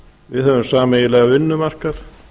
við höfum sameiginlegan vinnumarkað